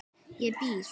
Ég býð!